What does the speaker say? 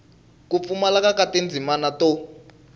ku pfumaleka ka tindzimana to